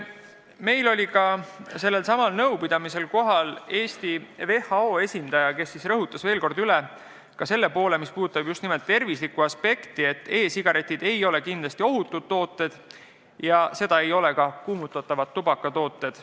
Meil oli sellelsamal nõupidamisel kohal ka Eesti WHO esindaja, kes rõhutas veel kord üle selle poole, mis puudutab tervise aspekti: e-sigaretid ei ole kindlasti ohutud tooted ja seda ei ole ka kuumutatavad tubakatooted.